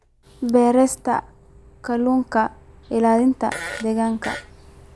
Beerista Kalluunka Ilaalinta Deegaanka.